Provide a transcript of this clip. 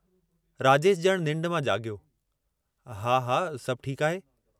राजेश जणु निन्ढ मां जागयो, "हा... हा... सभु ठीकु आहे।